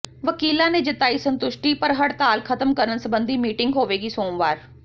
ਵਕੀਲਾਂ ਨੇ ਜਤਾਈ ਸੁਤੰਸ਼ਟੀ ਪਰ ਹੜਤਾਲ ਖਤਮ ਕਰਨ ਸਬੰਧੀ ਮੀਟਿੰਗ ਹੋਵੇਗੀ ਸੋਮਵਾਰ